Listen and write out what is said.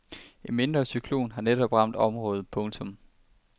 En mindre cyklon havde netop ramt området. punktum